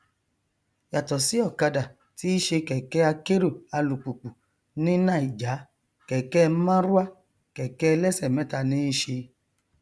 yàtọ sí ọkada tí í ṣe kẹkẹ akérò alùpùpù ní naija kẹkẹ marwa kẹkẹ ẹlẹsẹ mẹta ní í ṣe